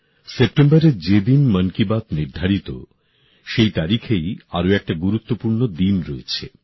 সেপ্টেম্বরের যে দিন মন কি বাত নির্ধারিত সেই তারিখেই আর একটা গুরুত্বপূর্ণ দিন রয়েছে